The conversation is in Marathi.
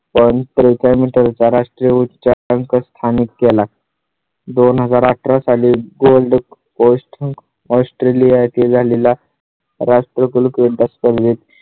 राष्ट्रीय उच्चांक स्थानिक केला. दोन हजार अठरा साली gold crust australia येथे झालेला राष्ट्रकुल क्रीडा स्पर्धेत